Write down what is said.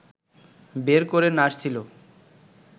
বের করে নাড়ছিল